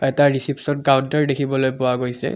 এটা reception counter দেখিবলৈ পোৱা গৈছে।